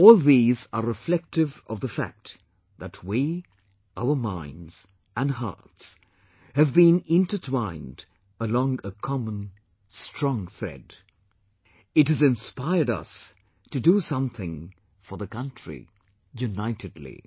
All these are reflective of the fact that we, our minds and hearts have been intertwined along a common strong thread...it has inspired us to do something for the country unitedly